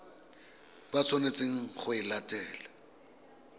ba tshwanetseng go e latela